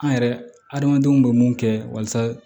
An yɛrɛ adamadenw bɛ mun kɛ walasa